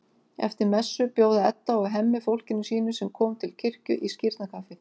Eftir messu bjóða Edda og Hemmi fólkinu sínu, sem kom til kirkju, í skírnarkaffi.